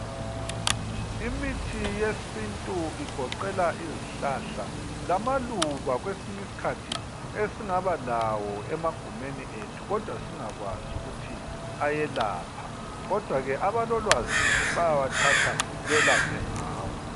Imithi yesintu igoqela izihlahla lamaluba kwesinyiskhathi esingaba lawo emagumeni ethu kodwa singakwazi ukuthi ayelapha. Kodwa ke abalolwazi, bayawathatha belaphe ngawo.